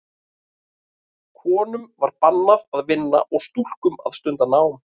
Konum var bannað að vinna og stúlkum að stunda nám.